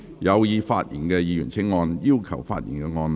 有意發言的議員請按"要求發言"按鈕。